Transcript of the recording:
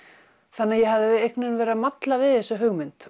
þannig að ég hafði einhvern veginn verið að malla við þessa hugmynd